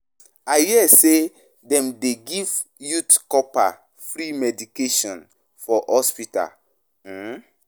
I hear say dem dey give youth corpers free medication for hospital. um